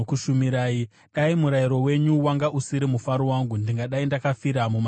Dai murayiro wenyu wanga usiri mufaro wangu, ndingadai ndakafira mumatambudziko angu.